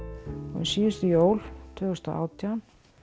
síðustu jól tvö þúsund og átján